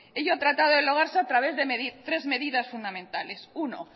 ello ha tratado a través de tres medidas fundamentales uno